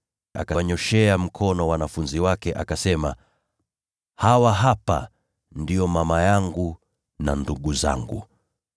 Akawanyooshea mkono wanafunzi wake, akasema, “Hawa hapa ndio mama yangu na ndugu zangu!